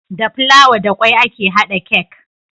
Da fulawa da kwai ake hada cake